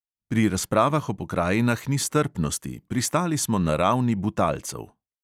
Pri razpravah o pokrajinah ni strpnosti, pristali smo na ravni butalcev.